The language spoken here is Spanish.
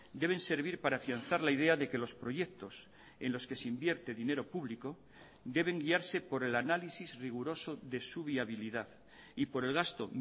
deben servir para afianzar la idea de que los proyectos en los que se invierte dinero público deben guiarse por el análisis riguroso de su viabilidad y por el gasto